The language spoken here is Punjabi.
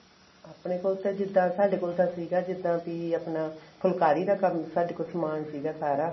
ਆਪਣੇ ਕੋਲ ਤਾਂ ਜਿੱਦਾਂ ਸਾਡੇ ਕੋਲ ਤਾਂ ਸੀਗਾ ਜਿੱਦਾਂ ਵੀ ਆਪਣਾ ਫੁਲਕਾਰੀ ਦਾ ਕੰਮ ਸਾਡੇ ਕੋਲ ਸਮਾਨ ਸੀਗਾ ਸਾਰਾ